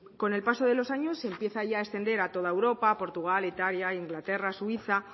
con el paso de los años se empieza ya extender a toda europa portugal italia inglaterra suiza